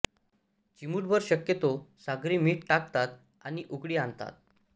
चिमूटभर शक्यतो सागरी मीठ टाकतात आणि उकळी आणतात